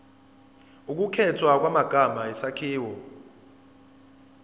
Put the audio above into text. ukukhethwa kwamagama isakhiwo